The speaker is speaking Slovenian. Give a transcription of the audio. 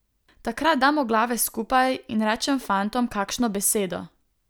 Takrat damo glave skupaj in rečem fantom kakšno besedo.